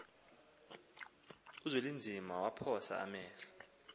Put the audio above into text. uzwelinzima waphosa amehlo